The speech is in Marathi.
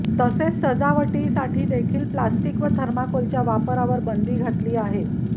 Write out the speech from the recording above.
तसेच सजावटीसाठी देखील प्लास्टिक व थर्माकोलच्या वापरावर बंदी घातली आहे